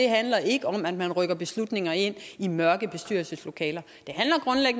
handler ikke om at man rykker beslutninger ind i mørke bestyrelseslokaler